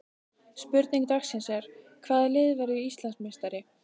Spurning dagsins er: Hvaða lið verður Íslandsmeistari?